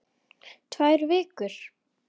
Tvær vikur?